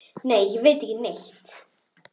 Nei, ég veit ekki neitt.